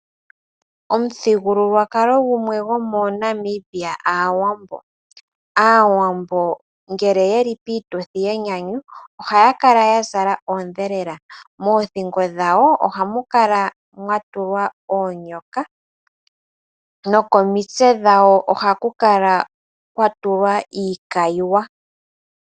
Omuthigululwakalo gumwe gomo Namibia aawambo. Aawambo ngele yeli piituthi yenyanyu ohaya kala ya zala oodhelela, moothingo dhawo ohamu kala mwa tulwa oonyoka, nokomitse dhawo ohaku kala kwa tulwa iikayiwa.